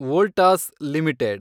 Voltas limited